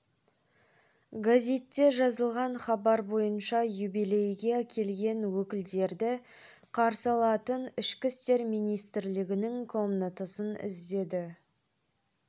газетте жазылған хабар бойынша юбилейге келген өкілдерді қарсы алатын ішкі істер министрлігінің комнатасын іздеді